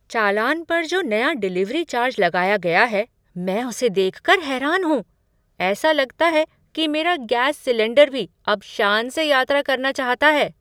चालान पर जो नया डिलिवरी चार्ज लगाया गया है मैं उसे देख कर हैरान हूँ। ऐसा लगता है कि मेरा गैस सिलेंडर भी अब शान से यात्रा करना चाहता है!